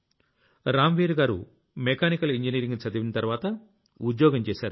రామ్ వీర్ గారు mechanical engineering చదివిన తర్వాత ఉద్యోగం చేశారు